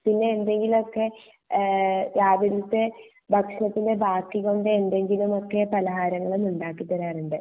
പിന്നെ എന്തേലും ഒക്കെ എഹ് രാവില്ത്തെ ഭക്ഷണത്തിന്റെ ബാക്കികൊണ്ട് എന്തെങ്കിലും ഒക്കെ പലഹാരങ്ങളും ഉണ്ടാക്കി തരാറുണ്ട്